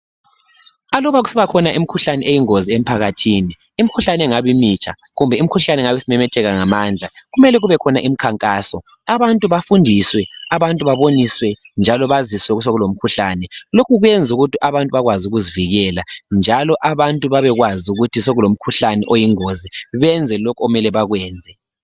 Alubakusibakhona imikhuhlane eyingozi emphakathini imikhuhlane engabe imitsha kumbe imikhuhlane engabe isimemetheka ngamandla kumele kubekhona mkhankaso abantu bafundiswe abantu baboniswe njalo baziswe ukuthi sokulomkhuhlane lokhu kwenza ukuthi abantu bakwazi ukuzivikela njalo abantu babekwazi ukuthi sokulomkhuhlane oyingozi benze lokho okumele bakwenze.